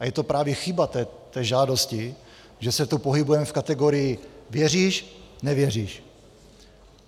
A je to právě chyba té žádosti, že se tu pohybujeme v kategorii věříš - nevěříš.